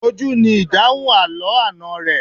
Ojú ni ìdáhùn àlọ́ àná rẹ.